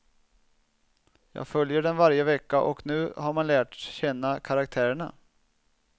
Jag följer den varje vecka och nu har man lärt känna karaktärerna.